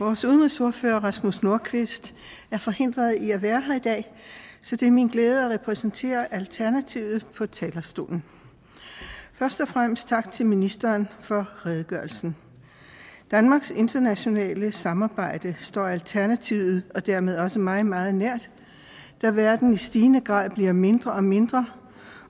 vores udenrigsordfører rasmus nordqvist er forhindret i at være her i dag så det er min glæde at repræsentere alternativet på talerstolen først og fremmest tak til ministeren for redegørelsen danmarks internationale samarbejde står alternativet og dermed også mig meget nær da verden i stigende grad bliver mindre og mindre